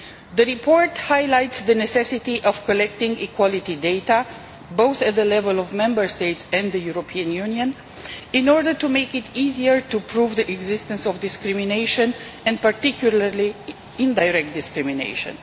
The report highlights the necessity of collecting equality data both at the level of Member States and the European Union in order to make it easier to prove the existence of discrimination and, particularly, indirect discrimination.